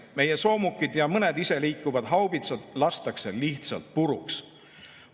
Meie soomukid ja mõned iseliikuvad haubitsad lastakse lihtsalt puruks.